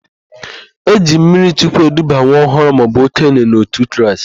E ji mmirichukwu eduba nwa ọhụrụ maọbụ okenye n'òtù Kraịst.